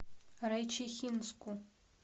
райчихинску